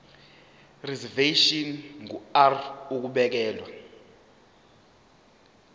reservation ngur ukubekelwa